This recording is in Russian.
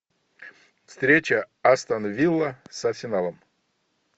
встреча астон вилла с арсеналом